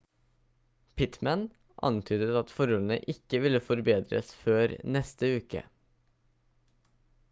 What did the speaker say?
pittmann antydet at forholdene ikke vil forbedres før neste uke